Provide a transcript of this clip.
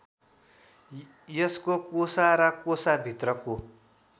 यसको कोसा र कोसाभित्रको